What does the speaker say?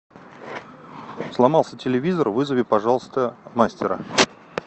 сломался телевизор вызови пожалуйста мастера